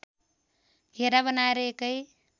घेरा बनाएर एकै